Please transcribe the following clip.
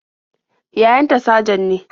Yayan ta sajan ne.